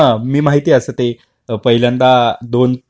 हो, मी माहितीये असं ते, पहिल्यांदा दोन